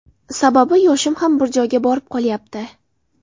Sababi yoshim ham bir joyga borib qolyapti.